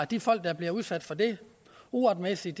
de folk der bliver udsat for det uretmæssigt